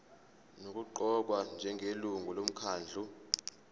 nokuqokwa njengelungu lomkhandlu